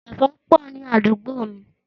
Ẹ̀fan pọ̀ ni àdúgbò mí.